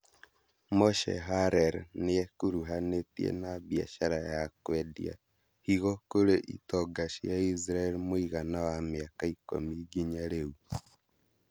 Moshe Harel nĩekuruhanĩtie na biacara ya kwendia higo kũrĩ itonga cia Israel mũigana wa mĩaka ikũmi nginya rĩu